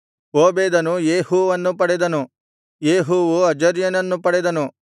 ಓಬೇದನು ಯೇಹೂವನ್ನು ಪಡೆದನು ಯೇಹೂವು ಅಜರ್ಯನನ್ನು ಪಡೆದನು